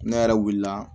Ne yɛrɛ wulila